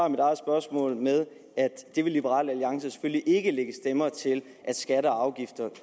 mit eget spørgsmål med at liberal alliance selvfølgelig ikke vil lægge stemmer til at skatter og afgifter